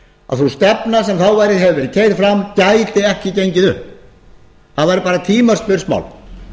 að sú stefna sem þá hafði verið keyrð fram gæti ekki gengið upp það væri bara tímaspursmál